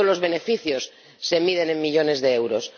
No todos los beneficios se miden en millones de euros.